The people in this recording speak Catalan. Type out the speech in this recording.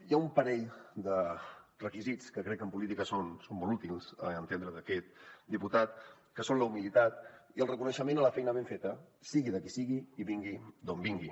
hi ha un parell de requisits que crec que en política són molt útils a l’entendre d’aquest diputat que són la humilitat i el reconeixement a la feina ben feta sigui de qui sigui i vingui d’on vingui